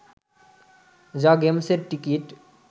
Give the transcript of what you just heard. যা গেমসের টিকিট